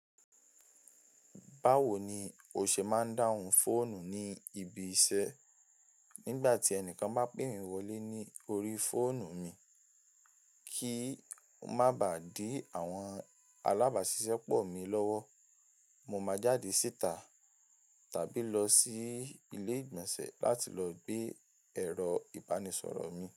Báwo ni o ṣe máa ń dáhùn fóònù ní ibi iṣẹ́? Nígbà tí ẹnìkan bá pè mi wọlé ní orí fóònù mi, kí má bà di àwọn alábàáṣiṣẹ́ pọ̀ mi lọ́wọ́, mo máa jáde síta tàbí lọ sí ilé ìgbọ̀nsẹ̀ láti lọ gbé ẹ̀rọ ìbánisọ̀rọ̀ mi.